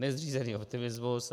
Nezřízený optimismus.